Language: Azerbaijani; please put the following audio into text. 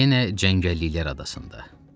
Yenə cəngəlliklər adasında.